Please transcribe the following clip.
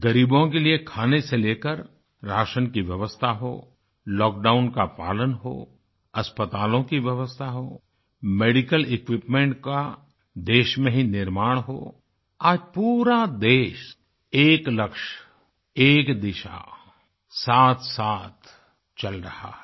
ग़रीबों के लिए खाने से लेकर राशन की व्यवस्था हो लॉकडाउन का पालन हो अस्पतालों की व्यवस्था हो मेडिकल इक्विपमेंट का देश में ही निर्माण हो आज पूरा देश एक लक्ष्य एक दिशा साथसाथ चल रहा है